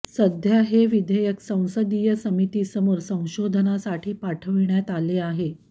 सध्या हे विधेयक संसदीय समितीसमोर संशोधनासाठी पाठविण्यात आले आहे